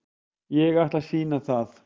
Ég ætla að sýna það.